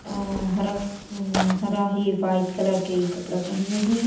अ हरा हरा है वाइट कलर के कपड़ा पहने हैं।